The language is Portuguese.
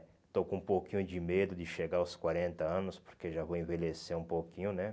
Estou com um pouquinho de medo de chegar aos quarenta anos, porque já vou envelhecer um pouquinho, né?